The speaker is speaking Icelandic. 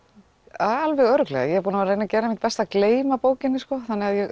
alveg örugglega ég er búin að gera mitt besta að gleyma bókinni sko þannig að